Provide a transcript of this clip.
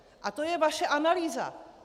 A to je vaše analýza!